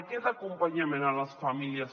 aquest acompanya·ment a les famílies